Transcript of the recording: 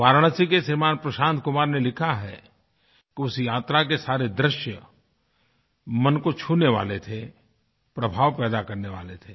वाराणसी के श्रीमान प्रशांत कुमार ने लिखा है कि उस यात्रा के सारे दृश्यमन को छूने वाले थे प्रभाव पैदा करने वाले थे